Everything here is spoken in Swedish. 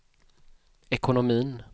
ekonomin